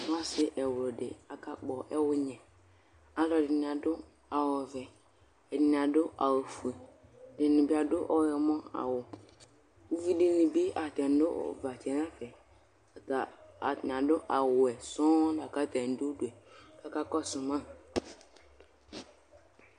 Ɔsɩ ɛwlʋdɩ akakpɔ ɛwʋnyɛ Alʋɛdɩnɩ bɩ adʋ awʋ ɔvɛ, ɛdɩnɩ adʋ awʋfue, ɛdɩnɩ bɩ adʋ ɔyɔmɔawʋ Uvi dɩnɩ bɩ atanɩ nʋ ʋvatsɛ yɛ nʋ ɛfɛ, ata atanɩ adʋ awʋwɛ sɔŋ la kʋ atanɩ dʋ udu yɛ kʋ akakɔsʋ ma